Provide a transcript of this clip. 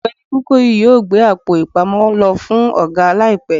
ọgbẹni kukoyi yọọ gbé Àpò-ìpamọ́ lo fún oga laípe